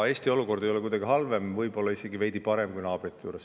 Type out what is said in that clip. Eesti olukord ei ole kuidagi halvem, võib-olla on isegi veidi parem kui naabrite juures.